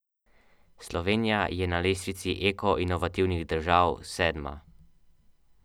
Klepačeva se je prebila v nadaljevanje, za Srebotnikovo pa je bilo konec že v uvodni predstavi.